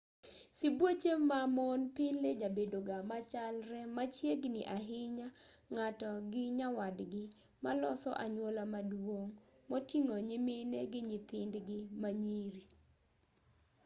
sibuoche ma mon pile jabedoga machalre machiegni ahinya ng'ato gi nyawadgi maloso anyuola maduong' moting'o nyimine gi nyithindgi ma nyiri